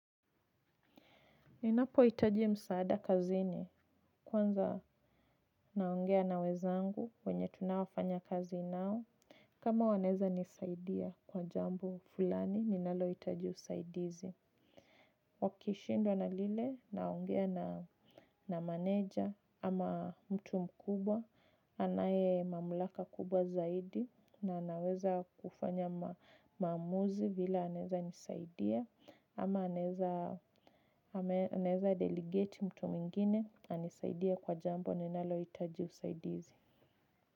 Ninapohitaji msaada kazini kwanza naongea na wenzangu wenye tunaofanya kazi nao kama wanaweza nisaidia kwa jambo fulani ninalohitaji usaidizi. Wakishindwa na lile naongea na na manager ama mtu mkubwa anaye mamlaka kubwa zaidi na anaweza kufanya maamuzi vile anaeza nisaidia ama anaeza naeza delegate mtu mwingine anisaidie kwa jambo ninalohitaji usaidizi.